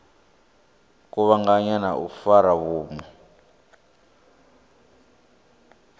kuvhanganya na u fara vhunna